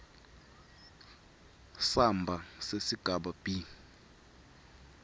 samba sesigaba b